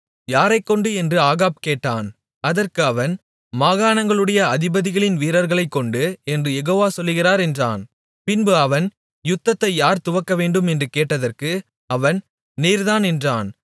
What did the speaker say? யாரைக்கொண்டு என்று ஆகாப் கேட்டான் அதற்கு அவன் மாகாணங்களுடைய அதிபதிகளின் வீரர்களைக்கொண்டு என்று யெகோவா சொல்லுகிறார் என்றான் பின்பு அவன் யுத்தத்தை யார் துவக்கவேண்டும் என்று கேட்டதற்கு அவன் நீர்தான் என்றான்